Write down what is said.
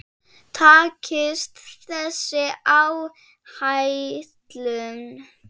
Takist þessi áætlun